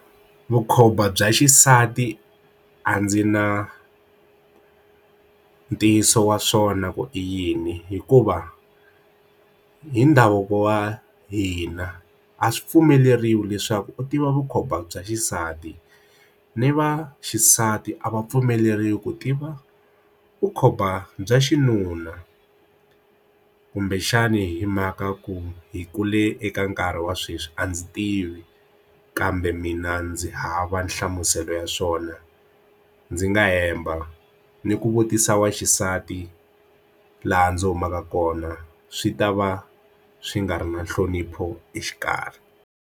Vukhomba bya xisati a ndzi na ntiyiso wa swona ku i yini hikuva hi ndhavuko wa hina a swi pfumeleriwi leswaku u tiva vukhomba bya xisati ni vaxisati a va pfumeleri ku tiva vukhomba bya xinuna kumbexani hi mhaka ku hi kule eka nkarhi wa sweswi a ndzi tivi kambe mina ndzi hava nhlamuselo ya swona ndzi nga hemba ni ku vutisa wa xisati laha ndzi humaka kona swi ta va swi nga ri na nhlonipho exikarhi.